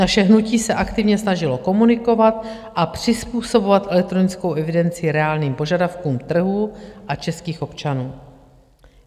Naše hnutí se aktivně snažilo komunikovat a přizpůsobovat elektronickou evidenci reálným požadavkům trhu a českých občanů.